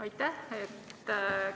Aitäh!